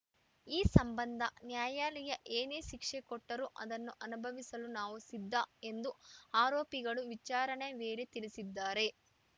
ಈ ಸಂಬಂಧ ನ್ಯಾಯಾಲಯ ಏನೇ ಶಿಕ್ಷೆ ಕೊಟ್ಟರೂ ಅದನ್ನು ಅನುಭವಿಸಲು ನಾವು ಸಿದ್ಧ ಎಂದು ಆರೋಪಿಗಳು ವಿಚಾರಣೆ ವೇಳೆ ತಿಳಿಸಿದ್ದಾರೆ